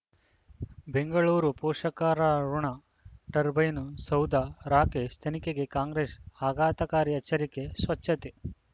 ಬೆಂಗಳೂರು ಪೋಷಕರಋಣ ಟರ್ಬೈನು ಸೌಧ ರಾಕೇಶ್ ತನಿಖೆಗೆ ಕಾಂಗ್ರೆಸ್ ಆಘಾತಕಾರಿ ಎಚ್ಚರಿಕೆ ಸ್ವಚ್ಛತೆ